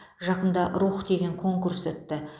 жақында рух деген конкурс өтті